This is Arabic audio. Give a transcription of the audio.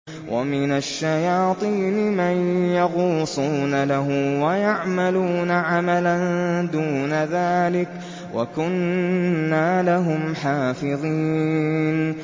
وَمِنَ الشَّيَاطِينِ مَن يَغُوصُونَ لَهُ وَيَعْمَلُونَ عَمَلًا دُونَ ذَٰلِكَ ۖ وَكُنَّا لَهُمْ حَافِظِينَ